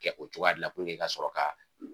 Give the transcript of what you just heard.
Kɛ o cogoya de la i ka sɔrɔ ka